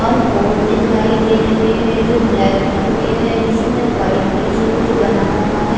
और बोर्ड दिखाई दे रहे है जो ब्लैक कलर के है जिसमे वाइट कलर से कुछ बना हुआ है।